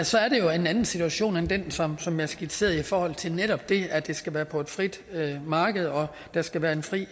så er det jo en anden situation end den som som jeg skitserede i forhold til netop det at det skal være på et frit marked og at der skal være fri